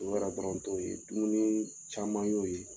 O yɛrɛ dɔrɔn t'o ye dumuni caman y'o ye